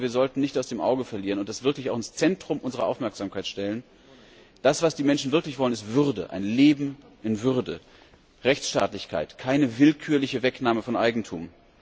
Ich glaube aber, wir sollten nicht aus den Augen verlieren und das wirklich auch ins Zentrum unserer Aufmerksamkeit stellen Das, was die Menschen wirklich wollen, ist Würde! Ein Leben in Würde! Rechtsstaatlichkeit, keine willkürliche Wegnahme von Eigentum!